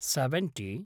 seventy